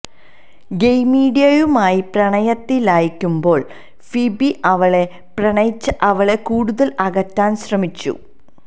ഗെയ്മീഡിയുമായി പ്രണയത്തിലാകുമ്പോൾ ഫീബി അവളെ പ്രണയിച്ച് അവളെ കൂടുതൽ അകറ്റാൻ ശ്രമിച്ചു